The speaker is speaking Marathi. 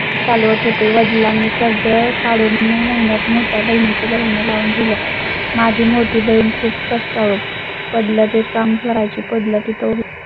चालवत होते. वडिलांची कर्ज जर काढून मे महिन्यात मोठ्या बहिणी चे लग्न लावून दिलं. माझी मोठी बहीण खूप कष्टाळू पडलं, ते काम करायची पडला. तिथं